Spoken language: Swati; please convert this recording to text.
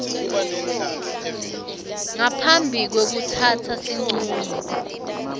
ngaphambi kwekutsatsa sincumo